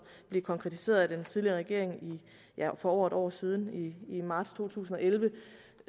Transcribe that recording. blev konkretiseret af den tidligere regering for over et år siden i marts to tusind og elleve